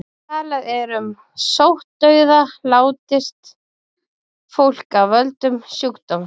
Talað er um sóttdauða látist fólk af völdum sjúkdóms.